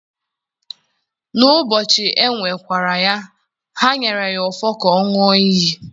n'ubọchi ewe-kwa-ra ya, ha nyere ya ofo ka ọ ṅua iyi.